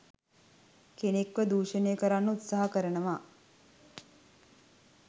කෙනෙක්ව දූෂණය කරන්න උත්සාහ කරනවා.